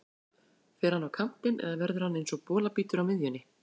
Fer hann á kantinn eða verður hann eins og bolabítur á miðjunni?